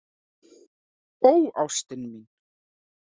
Ó ástin mín.